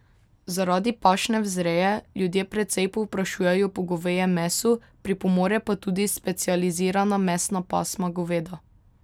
Zaradi pašne vzreje ljudje precej povprašujejo po govejem mesu, pripomore pa tudi specializirana mesna pasma goveda.